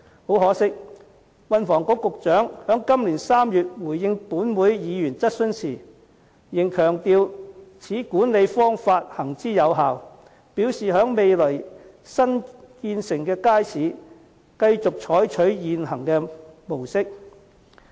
很可惜，運輸及房屋局局長在今年3月回應本會議員質詢時，仍強調此管理方法行之有效，表示在未來新落成的街市，將繼續採取現行模式。